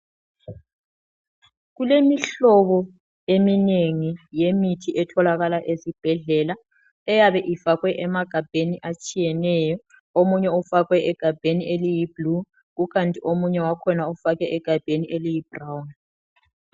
Kulemihlobo eminengi yemithi etholakala esibhedlela eyabe ifakwe emagabheni atshiyeneyo, omunye ufakwe egabheni eliyi blue kukanti omunye wakhona ufakwe egabheni eliyi brown.